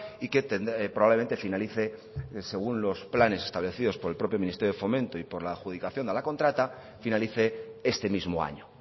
y que probablemente finalice según los planes establecidos por el propio ministerio de fomento y por la adjudicación de la contrata finalice este mismo año